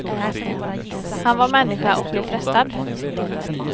Han var människa och blev frestad.